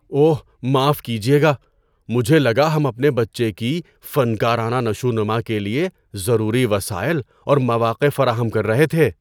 اوہ، معاف کیجیے گا! مجھے لگا ہم اپنے بچے کی فنکارانہ نشوونما کے لیے ضروری وسائل اور مواقع فراہم کر رہے تھے۔